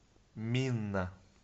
минна